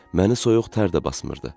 Məni soyuq tər də basmırdı.